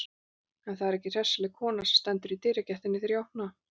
En það er ekki hressileg kona sem stendur í dyragættinni þegar ég opna.